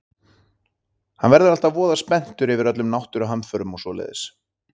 Hann verður alltaf voða spenntur yfir öllum náttúruhamförum og svoleiðis.